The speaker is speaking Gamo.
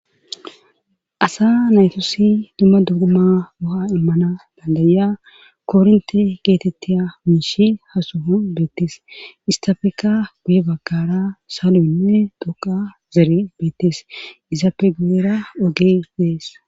Asa naytosi dumma duguma qoha immana dandaya kornte geetettiya miishi hasuha beettes istafeka guye bagkara saaloynne doqa zere beettes iza pe geera ogee dees.